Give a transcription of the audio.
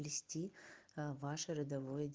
ваше родовое